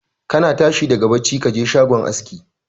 Kana tashi daga bacci ka je shagon aski